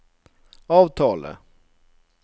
avtale